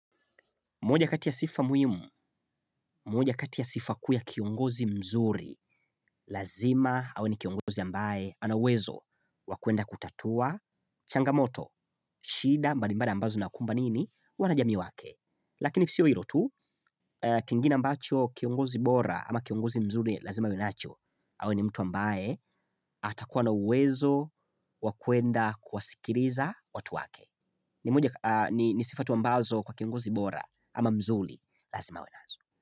Moja kati ya sifa muhimu, moja kati ya sifa kuu ya kiongozi mzuri, lazima awe ni kiongozi ambaye, ana uwezo wa kuenda kutatua, changamoto, shida, mbalimbali ambazo zinakumba nini, wanajamii wake. Lakini sio hilo tu, kingine ambacho kiongozi bora ama kiongozi mzuri lazima awe nacho, awe ni mtu ambaye, atakuwa na uwezo, wa kuenda kuwasikiliza watu wake. Ni sifa tu ambazo kwa kiongozi bora ama mzuri, lazima awe nazo.